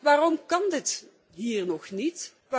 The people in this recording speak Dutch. Waarom kan dit hier nog niet?